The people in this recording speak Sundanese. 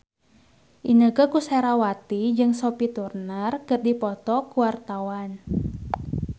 Inneke Koesherawati jeung Sophie Turner keur dipoto ku wartawan